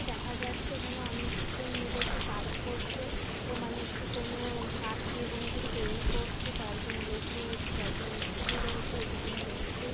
দেখা যাচ্ছে এখানে অনেক জন মিলে একটি কাজ করছে। এর মানে একটি কোন কাঠ দিয়ে কোন কিছু তৈরি করছে কয়েকজন লোক রয়েছে কয়েকজন মিস্ত্রী রয়েছে একজন দেখছে।